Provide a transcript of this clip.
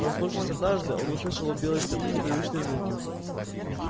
проснувшись однажды он услышал у белой стены непривычные звуки